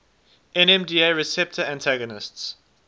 nmda receptor antagonists